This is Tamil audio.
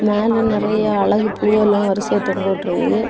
மேல நெறைய அழகு பூவெல்லாம் வரிசையா தொங்கவிட்டுருக்கு.